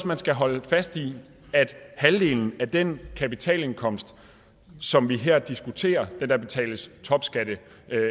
man skal holde fast i at halvdelen af den kapitalindkomst som vi her diskuterer det der betales topskat af